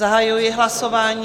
Zahajuji hlasování.